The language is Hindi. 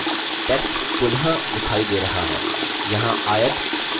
text पुनः दिखाई the रहा है